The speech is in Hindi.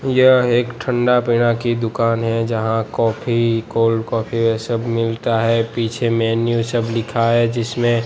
यह एक ठंडा पेड़ा की दुकान है यहां काफी कोल्ड काफी ये सब मिलता है पीछे मेनू सब लिखा है जिसमें--